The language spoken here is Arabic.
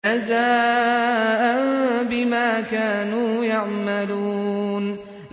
جَزَاءً بِمَا كَانُوا يَعْمَلُونَ